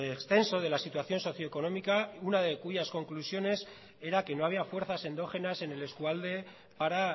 extenso de la situación socioeconómica y una de cuyas conclusiones era que no había fuerzas endógenas en el eskualde para